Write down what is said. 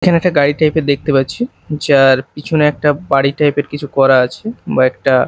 এখানে একটা গাড়ি টাইপ -এর দেখতে পারছি যার পিছনে একটা বাড়ি টাইপ -এর কিছু করা আছে বা একটা--